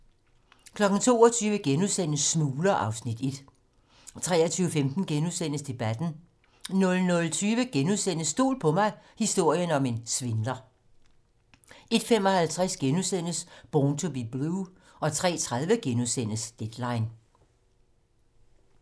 22:00: Smugler (Afs. 1)* 23:15: Debatten * 00:20: Stol på mig - historien om en svindler * 01:55: Born to be Blue * 03:30: Deadline *